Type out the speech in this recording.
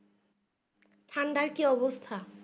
ঠান্ডার অবস্থা